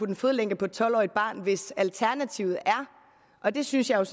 en fodlænke på et tolv årige barn hvis alternativet og det synes jeg